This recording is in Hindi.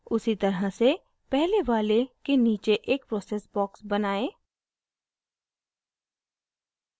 उसी तरह से पहले वाले के नीचे एक process box बनाएं